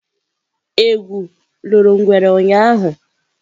Egwu loro ngwere ụnyahụ?